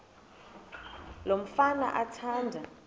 lo mfana athanda